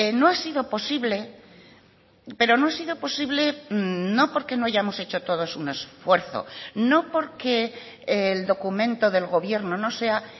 no ha sido posible pero no ha sido posible no porque no hayamos hecho todos un esfuerzo no porque el documento del gobierno no sea